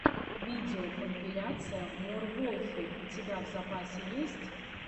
видеокомпиляция мор волфи у тебя в запасе есть